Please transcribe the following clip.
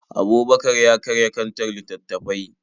Abubakar ya karya kantar littattafai.